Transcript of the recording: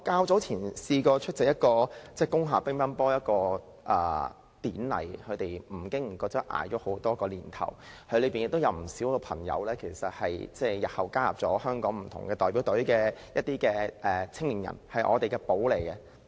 早前，我出席了一個在工廈舉行的乒乓球典禮，他們不經不覺熬過了多個年頭，當中有不少青年人後來加入了香港不同的代表隊，他們是我們的寶藏。